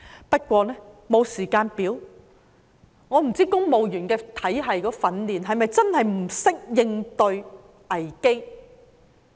不過，沒有時間表，我不知道公務員體系的訓練是否真的不懂應對危機？